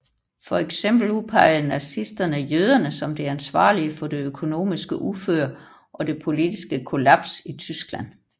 For eksempel udpegede nazisterne jøderne som de ansvarlige for det økonomiske uføre og det politiske kollaps i Tyskland